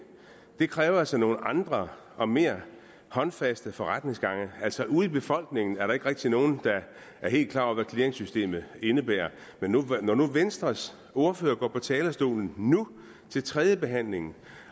kræver altså nogle andre og mere håndfaste forretningsgange altså ude i befolkningen er der ikke rigtig nogen der er helt klar over hvad clearingsystemet indebærer men når venstres ordfører går på talerstolen nu til tredjebehandlingen